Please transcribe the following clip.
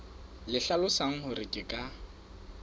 le hlalosang hore ke ka